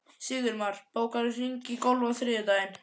Sigurmar, bókaðu hring í golf á þriðjudaginn.